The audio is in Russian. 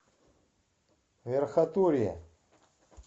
верхотурье